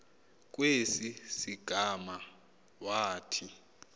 kwesi sigama wathi